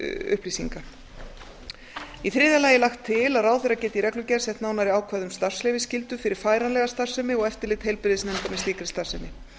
upplýsinga í þriðja lagi er lagt til að ráðherra geti í reglugerð sett nánari ákvæði um starfsleyfisskyldu fyrir færanlega starfsemi og eftirlit heilbrigðisnefnda með slíkri starfsemi